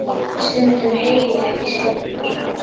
Stundum heyri ég ekki í sjálfum mér.